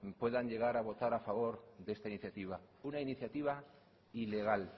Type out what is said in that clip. puedan llegar a votar a favor de esta iniciativa una iniciativa ilegal